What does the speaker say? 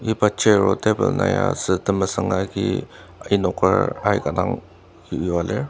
iba chair o table na ya sü temesüng agi enoker aika dang yua lir.